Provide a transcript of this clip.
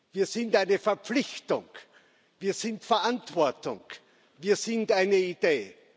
Wir sind eine Verpflichtung, wir sind Verantwortung, wir sind eine Idee.